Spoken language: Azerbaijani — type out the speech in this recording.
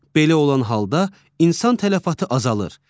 Belə olan halda insan tələfatı azalır.